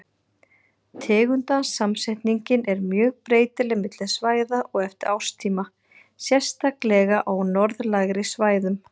Tegundasamsetningin er mjög breytileg milli svæða og eftir árstíma, sérstaklega á norðlægari svæðum.